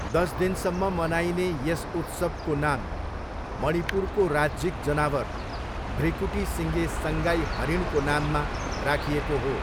दस दिनसम्म मनाइने यस उत्सवको नाम मणिपुरको राज्यिक जनावर, भृकुटीसिँगे सङ्गाई हरिणको नाममा राखिएको हो।